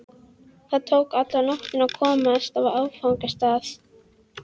Það tók alla nóttina að komast á áfangastað.